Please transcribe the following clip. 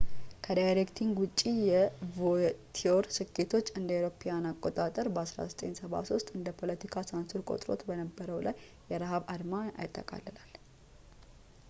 ከዳይሬክቲንግ ውጭ የቮቲየር ስኬቶች እ.ኤ.አ. በ 1973 እንደ ፖለቲካ ሳንሱር ቆጥሮት በነበረው ላይ የረሃብ አድማ ያጠቃልላል